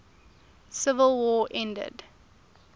civil war ended